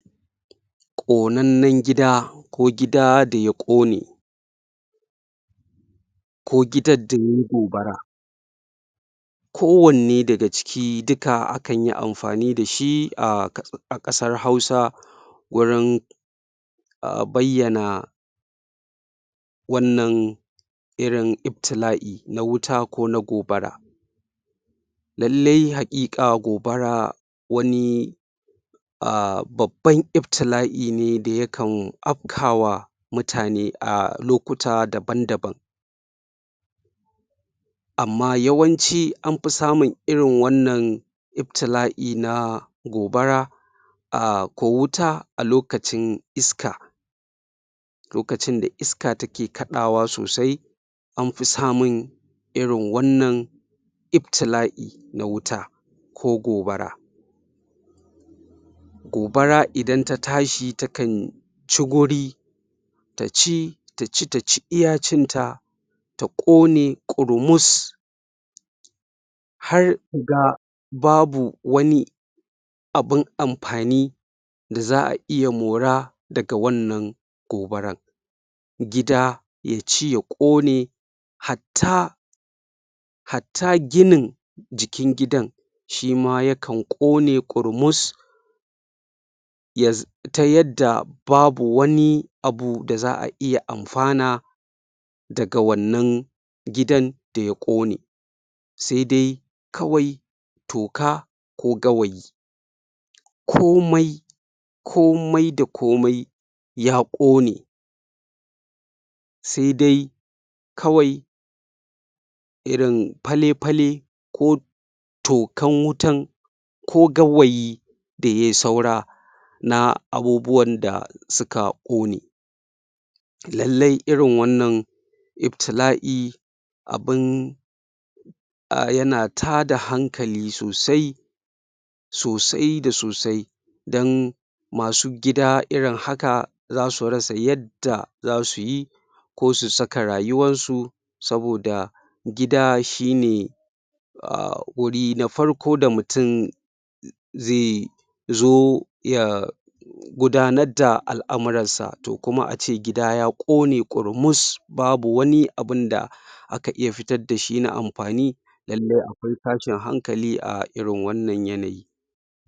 Konannen gida ko gida da ya ƙone ko gidan da yayi gobara ko wanne daga ciki duka ana iya amfani da shi a ƙasar hausa wurin um bayyana wannan irin iftila'i na wuta ko na gobara lallai haƙiƙa gobara wani um babban iftila'i ne da yakan afka wa mutane a lokuta daban daban amma yawanci an fi samun irin wannan iftila'i na gobara um ko wuta a lokacin iska lokacin da iska take kaɗawa sosai an fi samun irin wannan iftila'i na wuta ko gobara gobara idan ta tashi takan ci guri ta ci ta ci ta ci iya cinta ta ƙone ƙurmus har da babu wani Abun amfani da za a iya mora daga wannan gobaran gida ya ci ya ƙone hatta hata ginin jikin gidan Shima yakan ƙone ƙurmus ta yadda babu wani abu da za a iya amfana daga wannan gidan da ya ƙone sai dai kawai toka ko gawayi komai komai da komai ya ƙone sai dai kawai irin fale-fale ko tokan wutan ko gawayi da yayi saura na abubuwan da suka ƙone lallai irin wannan iftila'i abun yana tada hankali sosai sosai da sosai don masu gida irin haka zasu rasa yadda zasu yi ko su saka rayuwar su saboda gida shine um wuri na farko da mutum zai zo ya gudanar da al'amuransa to kuma ace gida ya ƙone ƙurmus babu wani abunda aka iya fitar da shi na amfani lallai akwai tashin hankali a irin wannan yanayin.